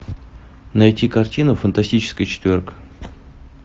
найти картину фантастическая четверка